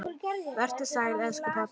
Vertu sæll, elsku pabbi.